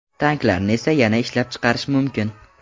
Tanklarni esa yana ishlab chiqarish mumkin.